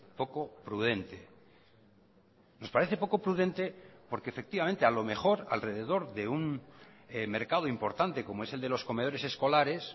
poco prudente nos parece poco prudente porque efectivamente a lo mejor alrededor de un mercado importante como es el de los comedores escolares